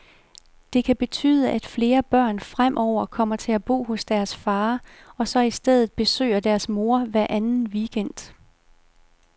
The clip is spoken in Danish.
Det kan betyde, at flere børn fremover kommer til at bo hos deres far, og så i stedet besøger deres mor hver anden weekend.